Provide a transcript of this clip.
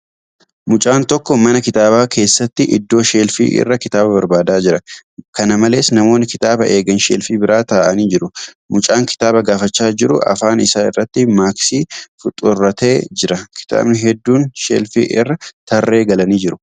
Mucaan tokko mana kitaabaa keessatti iddoo sheelfii irraa kitaaba barbaadaa jira. Kana malees, namoonni kitaaba eegan sheelfii bira taa'annii jiru. Mucaan kitaaba gaafachaa jiru afaan isaa irratti maaksii faxuurratee jira. Kitaabni hedduun sheelfii irra tarree galanii jiru.